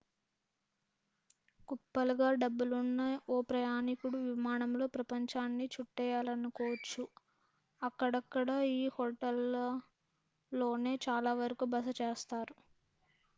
కుప్పలుగా డబ్బులున్న ఓ ప్రయాణికుడు విమానంలో ప్రపంచాన్ని చుట్టేయాలనుకోవచ్చు అక్కడక్కడా ఈ హోటళ్ళలోనే చాలా వరకు బస చేస్తారు